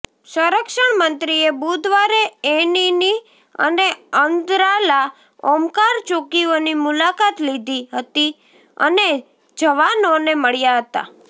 સંરક્ષણ મંત્રીએ બુધવારે એનિની અને અંદ્રાલા ઓમકાર ચોકીઓની મુલાકાત લીધી હતી અને જવાનોને મળ્યા હતા